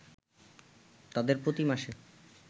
তাদের প্রতি মাসে